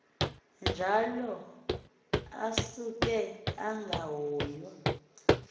njalo asuke angahoyua